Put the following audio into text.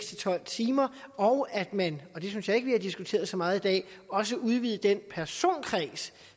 til tolv timer og at man og det synes jeg ikke at vi har diskuteret så meget i dag også udvidede den personkreds